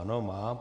Ano, má.